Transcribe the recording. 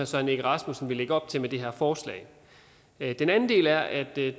søren egge rasmussen vil lægge op til med det her forslag den anden del er at der